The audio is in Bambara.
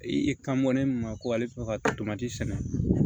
I kan mɔni min ma ko ale ka sɛnɛ